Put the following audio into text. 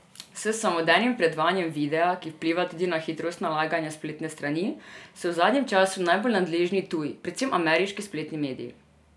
S samodejnim predvajanjem videa, ki vpliva tudi na hitrost nalaganja spletne strani, so v zadnjem času najbolj nadležni tuji, predvsem ameriški spletni mediji.